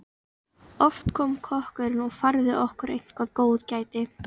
Oft kom kokkurinn og færði okkur eitthvert góðgæti.